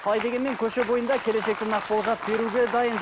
қалай дегенмен көше бойында келешекті нақ болжап беруге дайын